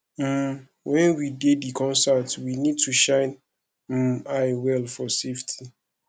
um when we dey di concert we need to shine um eye well for safety